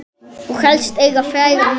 Og helst eiga frægan mann.